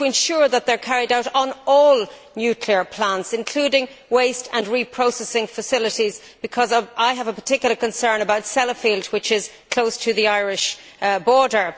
Will you ensure that they are carried out on all nuclear plants, including waste and reprocessing facilities, because I have a particular concern about Sellafield, which is close to the Irish border?